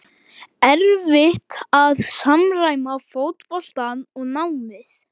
erfitt að samræma fótboltann og námið?